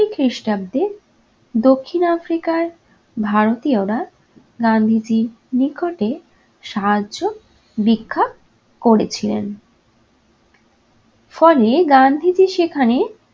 খ্রিস্টাব্দে দক্ষিণ africa য় ভারতীয়রা গান্ধীজীর নিকটে সাহায্য ভিক্ষা করেছিলেন। ফলে গান্ধীজি সেখানে